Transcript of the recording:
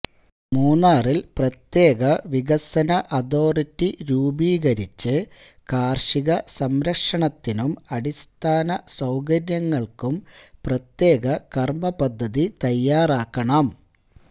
മൂന്നാറില് പ്രത്യേക വികസന അതോറിറ്റി രൂപീകരിച്ച് കാര്ഷികസംരക്ഷണത്തിനും അടിസ്ഥാനസൌകര്യങ്ങള്ക്കും പ്രത്യേക കര്മപദ്ധതി തയ്യാറാക്കണം